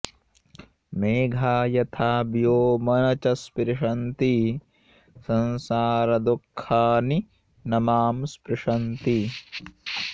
मेघा यथा व्योम न च स्पृशन्ति संसारदुःखानि न मां स्पृशन्ति